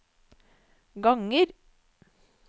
ganger